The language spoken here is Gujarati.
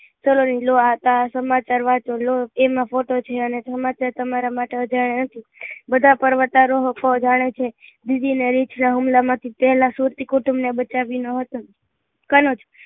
સનોરી લો આ સમાચાર વાંચો લો એમાં ફોટો છે અને સમમાચાર તમારા માટે જ આવ્યા છે બધા પર્વતારોહ ઓ જાણે છે બીજી હુમલા માંથી થયેલા સુરતી કુટુંબ ને બચાવ્યું નાં હતું કનોજ